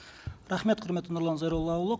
рахмет құрметті нұрлан зайроллаұлы